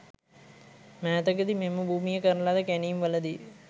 මෑතකදී මෙම භූමියේ කරන ලද කැණීම්වලදී